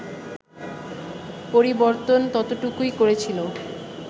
পরিবর্তন ততটুকুই করেছিল